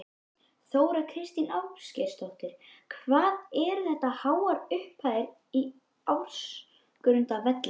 Þóra Kristín Ásgeirsdóttir: Hvað eru þetta háar upphæðir á ársgrundvelli?